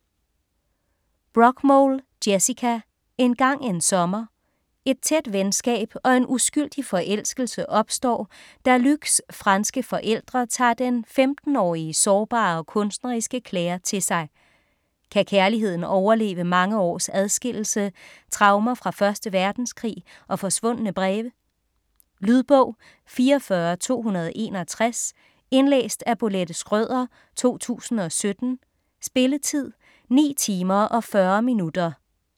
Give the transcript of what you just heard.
Brockmole, Jessica: Engang en sommer Et tæt venskab og en uskyldig forelskelse opstår, da Luc's franske forældre tager den 15-årige sårbare og kunstneriske Clare til sig. Kan kærligheden overleve mange års adskillelse, traumer fra 1. verdenskrig og forsvundne breve. Lydbog 44261 Indlæst af Bolette Schrøder, 2017. Spilletid: 9 timer, 40 minutter.